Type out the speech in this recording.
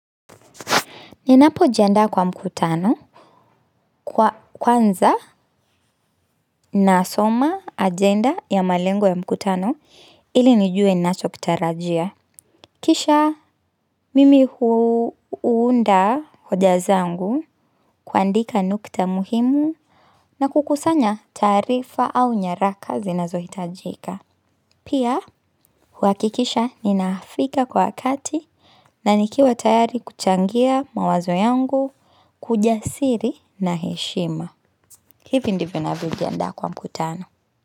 Ninapo jiandaa kwa mkutano kwa kwanza nasoma ajenda ya malengo ya mkutano ili nijue nacho kitarajia. Kisha mimi huunda hoja zangu kuandika nukta muhimu na kukusanya taarifa au nyaraka zinazo hitajika. Pia huakikisha ninaafika kwa wakati na nikiwa tayari kuchangia mawazo yangu kwa ujasiri na heshima. Hivi ndivyo navyojiandaa kwa mkutano.